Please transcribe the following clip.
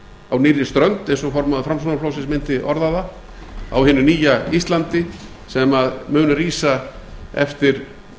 á nýrri strönd eins og formaður framsóknarflokksins mundi orða það á hinu nýja íslandi sem mun rísa eftir